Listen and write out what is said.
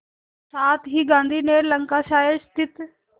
साथ ही गांधी ने लंकाशायर स्थित